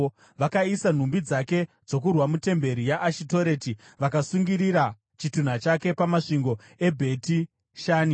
Vakaisa nhumbi dzake dzokurwa mutemberi yaAshitoreti vakasungirira chitunha chake pamasvingo eBheti Shani.